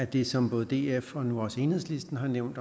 det som både df og nu også enhedslisten har nævnt